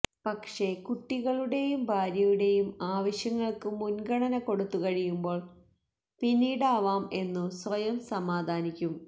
പക്ഷെ കുട്ടികളുടെയും ഭാര്യയുടെയും ആവശ്യങ്ങൾക്കു മുൻഗണന കൊടുത്തുകഴിയുമ്പോൾ പിന്നീടാവാം എന്നു സ്വയം സമാധാനിക്കും